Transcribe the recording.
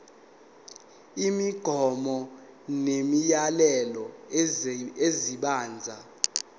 imigomo nemiyalelo esebenza